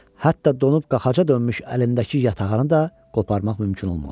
Hətta donub qaxaca dönmüş əlindəki yatağanı da qoparmaq mümkün olmadı.